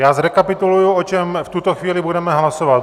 Já zrekapituluji, o čem v tuto chvíli budeme hlasovat.